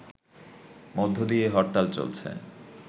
মধ্য দিয়ে হরতাল চলছে